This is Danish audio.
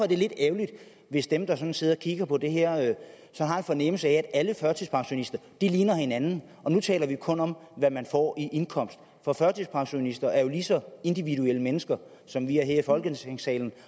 det lidt ærgerligt hvis dem der sådan sidder og kigger på det her har en fornemmelse af at alle førtidspensionister ligner hinanden og nu taler vi kun om hvad man får i indkomst for førtidspensionister er jo lige så individuelle mennesker som vi er her i folketingssalen